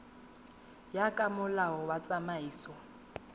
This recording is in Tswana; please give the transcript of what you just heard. ya ka molao wa tsamaiso